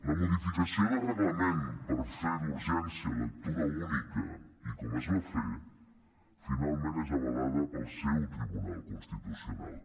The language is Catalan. la modificació de reglament per fer d’urgència lectura única i com es va fer finalment és avalada pel seu tribunal constitucional